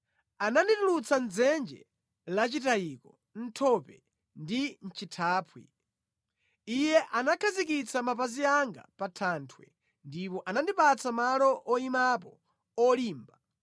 Ananditulutsa mʼdzenje lachitayiko, mʼthope ndi mʼchithaphwi; Iye anakhazikitsa mapazi anga pa thanthwe ndipo anandipatsa malo oyimapo olimba.